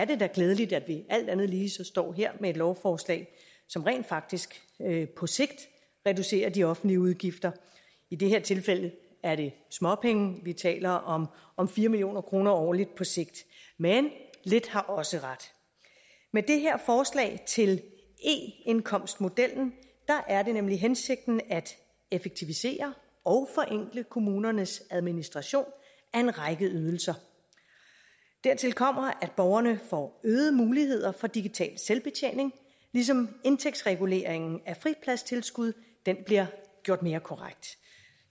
det da er glædeligt at vi alt andet lige så står her med et lovforslag som rent faktisk på sigt reducerer de offentlige udgifter i det her tilfælde er det småpenge vi taler om om fire million kroner årligt på sigt men lidt har også ret med det her forslag til eindkomstmodellen er det nemlig hensigten at effektivisere og forenkle kommunernes administration af en række ydelser dertil kommer at borgerne får øgede muligheder for digital selvbetjening ligesom indtægtsreguleringen af fripladstilskud bliver gjort mere korrekt